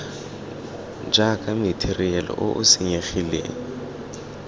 jaaka matheriale o o senyegileng